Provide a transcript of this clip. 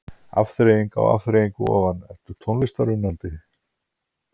Afþreying á afþreyingu ofan Ertu tónlistarunnandi?